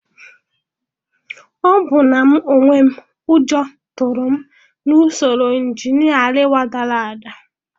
Ọbụna mụ onwe m, ụjọ tụrụ m na usoro injinia Ariwa dara ada.